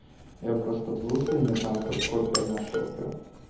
я просто был сегодня там как копия нашего прям